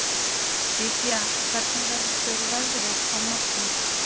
Lýdía, hvernig verður veðrið á morgun?